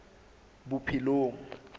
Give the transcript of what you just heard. bophelong